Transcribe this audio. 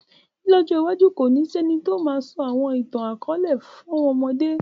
Lọ̀jọ iwajù, kóni si ẹ̀ni tió máà sọ àwọn ìtan-àkọọlẹ fàwọn ọmọde